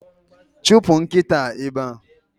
Chụpụ nkịta a ebe a!